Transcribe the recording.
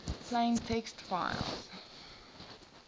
plain text files